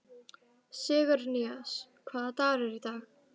Sigurnýjas, hvaða dagur er í dag?